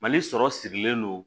Mali sɔrɔ sirilen don